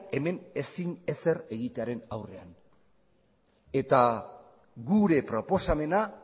hemen ezin ezer egitearen aurrean eta gure proposamena